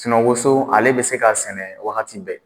woso ale bɛ se k'a sɛnɛ wagati bɛɛ